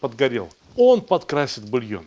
подгорел он подкрасит бульон